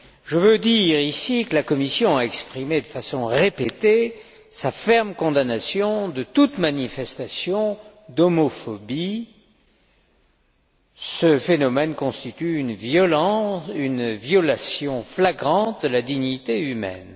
Je veux dire, ici, que la Commission a exprimé de façon répétée sa ferme condamnation de toute manifestation d'homophobie. Ce phénomène constitue une violation flagrante de la dignité humaine.